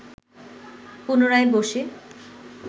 পুনরায় বসে